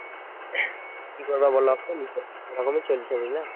কি করবে বলো এখন এই রকম ই চলছে বুঝলে